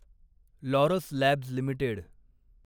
Laurus labs limited